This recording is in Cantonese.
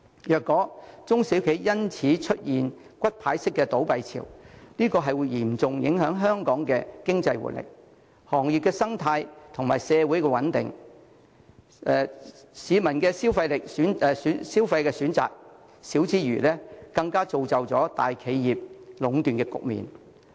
若中小企因此出現骨牌式倒閉潮，將會嚴重影響香港的經濟活力、行業生態及社會穩定，市民的消費選擇減少之餘，更會造就大企業壟斷的局面。